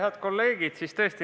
Head kolleegid!